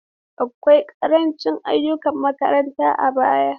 Akwai ƙarancin ayyukan makaranta a baya.